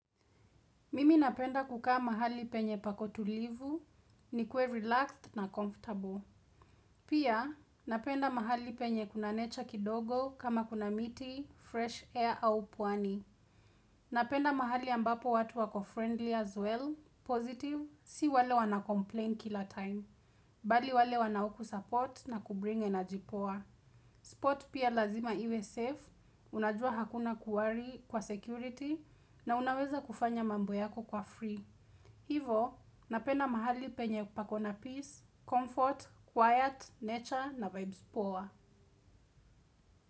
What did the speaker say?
Mimi napenda kukaa mahali penye pako tulivu, nikue relaxed na comfortable. Pia, napenda mahali penye kuna nature kidogo kama kuna miti, fresh air au pwani. Napenda mahali ambapo watu wako friendly as well, positive, si wale wanacomplain kila time. Bali wale wanaokusupport na kubring energy poa. Spot pia lazima iwe safe, unajua hakuna kuworry kwa security na unaweza kufanya mambo yako kwa free. Hivyo, napenda mahali penye pako na peace, comfort, quiet, nature na vibes poa.